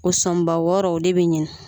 O sɔnba wɔɔrɔ o de be ɲini